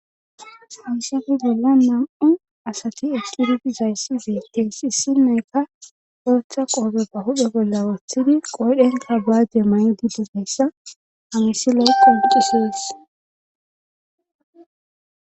hayssafe gella nam7u asati eqidi dizayssi zeyteysi issinneykka ootha qoobeppa hudhe bolla wooththidi qoydhenka baade may7 di digeyssa hamisi loykka ucusees